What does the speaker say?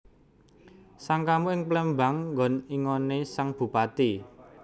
Sangkamu ing Plémbang ngon ingoné sang Bupati